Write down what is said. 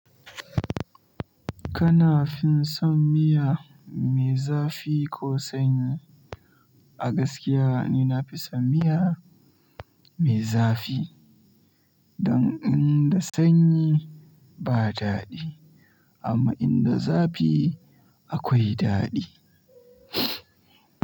Kana fin son miya mai zafi ko sanyi? A gaskiya ni nafi son miya mai zafi dan idan sanyi ba dadi amma inda zafi akwai dadi.